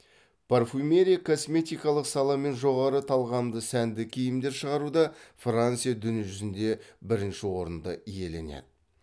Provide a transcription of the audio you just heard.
парфюмерия косметикалық сала мен жоғары талғамды сәнді киімдер шығаруда франция дүние жүзінде бірінші орынды иеленеді